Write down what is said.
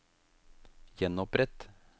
gjenopprett